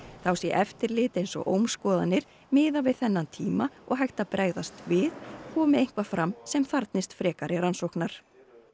þá sé eftirlit eins og ómskoðanir miðað við þennan tíma og hægt að bregðast við komi eitthvað fram sem þarfnist frekari rannsóknar